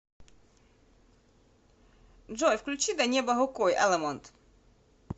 джой включи до неба рукой алемонд